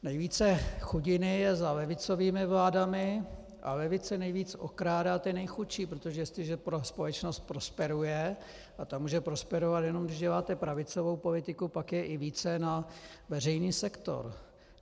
Nejvíce chudiny je za levicovými vládami a levice nejvíc okrádá ty nejchudší, protože jestliže společnost prosperuje, a ta může prosperovat, jenom když děláte pravicovou politiku, pak je i více na veřejný sektor.